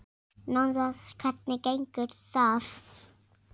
Nánast Hvernig gengur það?